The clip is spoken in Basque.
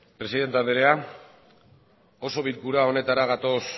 presidente andrea osoko bilkura honetara gatoz